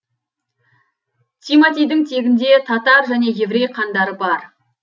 тиматидің тегінде татар және еврей қандары бар